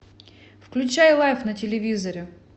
включай лайф на телевизоре